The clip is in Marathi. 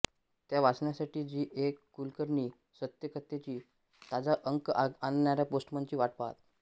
त्या वाचण्यासाठी जी ए कुलकर्णी सत्येकथेचा ताजा अंक आणणाऱ्या पोस्टमनची वाट पहात